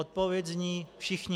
Odpověď zní: Všichni.